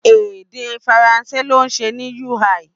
Èdè Faransé ló ṣe ní UI